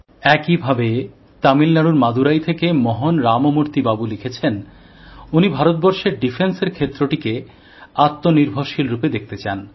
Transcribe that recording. একই ভাবে তামিল নাডুর মাদুরাই থেকে মোহন রামমূর্তি বাবু লিখেছেন উনি ভারতবর্ষের প্রতিরক্ষা ক্ষেত্রটিকে আত্মনির্ভরশীল রুপে দেখতে চান